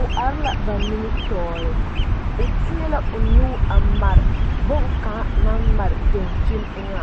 o are la ba nimitɔɔre o teɛ la o nu a mare boŋkaŋa naŋ mare dankyini eŋa